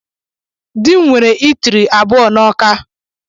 Dị m nwere itiri abụọ n'Awka.